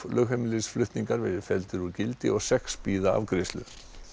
flutningar verði felldir úr gildi og sex bíða afgreiðslu